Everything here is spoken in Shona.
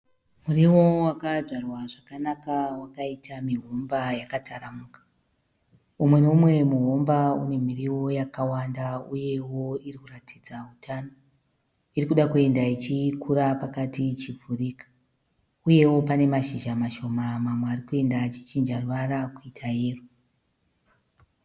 Muriwo wakadzvarwa zvakanaka wakaita mihomba yakataramuka. Umwe noumwe muhomba une miriwo yakawanda uyewo iri kuratidza utano. Iri kuda kuenda ichikura pakati ichivhurika uyewo pane mashizha mamwe mashoma ari kuenda achichinja ruvara kuita yero.